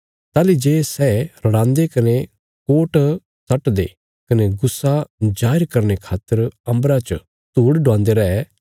ताहली जे सै रड़ांदे कने कोट सट्टदे कने गुस्सा जाहिर करने रे खातर अम्बरा च धूड़ डुवांदे रै